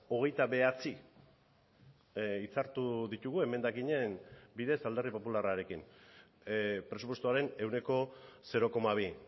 hogeita bederatzi hitzartu ditugu emendakinen bidez alderdi popularrarekin presupuestoaren ehuneko zero koma bi